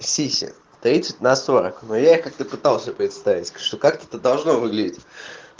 сиси тридцать на сорок но я их как то пытался представить что как это должно выглядеть